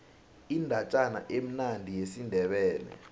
indatjana emnandi yesindebele